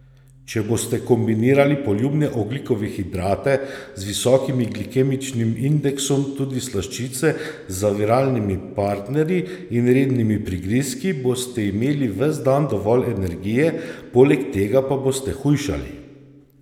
Če boste kombinirali poljubne ogljikove hidrate z visokim glikemičnim indeksom, tudi slaščice, z zaviralnimi partnerji in rednimi prigrizki, boste imeli ves dan dovolj energije, poleg tega pa boste hujšali!